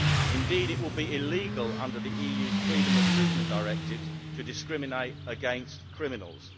Indeed, it will be illegal under the EU's freedom of movement directives to discriminate against criminals.